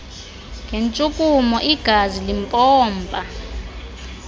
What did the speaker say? ngentshukumo igazi limpompa